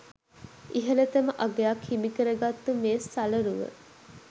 ඉහලතම අගයක් හිමිකරගත්තු මේ සලරුව